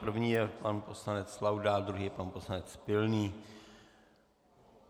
První je pan poslanec Laudát, druhý je pan poslanec Pilný.